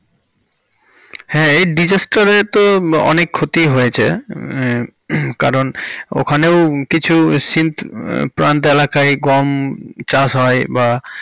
হ্যাঁ এই disaster তে তো অনেক ক্ষতিই হয়েছে হমম কারণ ওখানেও কিছু সিন্ধ প্রান্ত এলাকায় গম চাষ হয় বা।